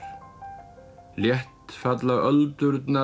létt falla öldurnar að